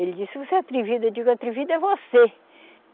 Ele disse, você é atrevida, eu digo, atrevido é você.